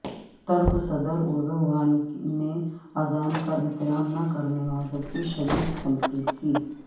ترک صدر اردوغان نے اذان کا احترام نہ کرنے والوں کی شدید تنقید کی